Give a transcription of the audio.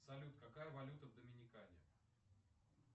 салют какая валюта в доминикане